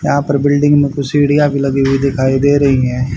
यहां पर बिल्डिंग में कुछ सीढ़ियां भी लगी हुई दिखाई दे रही है।